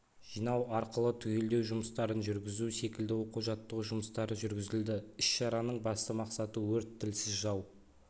жинау арқылы түгелдеу жұмыстарын жүргізу секілді оқу-жаттығу жұмыстары жүргізілді іс-шараның басты мақсаты өрт тілсіз жау